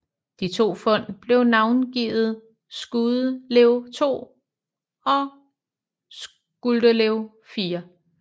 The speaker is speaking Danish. De to fund blev navngivet Skuldelev 2 og Skuldelev 4